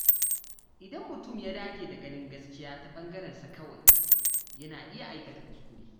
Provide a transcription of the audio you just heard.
Idan mutum ya dage da ganin gaskiya ta bangarensa kawai, yana iya aikata kuskure.